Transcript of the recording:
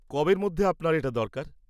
কবের মধ্যে আপনার এটা দরকার?